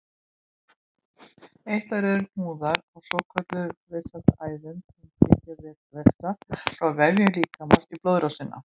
Eitlar eru hnúðar á svokölluðum vessaæðum sem flytja vessa frá vefjum líkamans í blóðrásina.